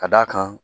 Ka d'a kan